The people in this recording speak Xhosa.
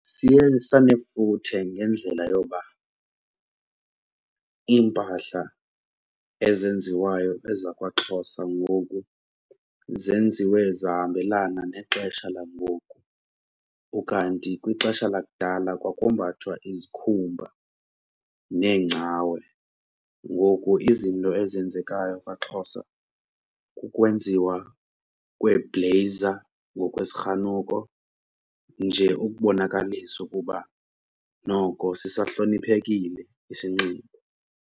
Siye sanefuthe ngendlela yoba iimpahla ezenziwayo ezakwaXhosa ngoku zenziwe zahambelana nexesha langoku ukanti kwixesha lakudala kwakumbathwa izikhumba neengcawe. Ngoku izinto ezenzekayo kwaXhosa kukwenziwa kweebhleyiza ngokwezirhanuko nje ukubonakalisa ukuba noko sisahloniphekile isinxibo.